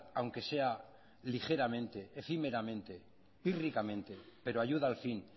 aunque sea ligeramente efímeramente pírricamente pero ayuda al fin